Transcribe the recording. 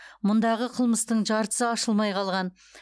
мұндағы қылмыстың жартысы ашылмай қалған